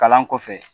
Kalan kɔfɛ